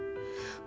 Yanılmamışdı.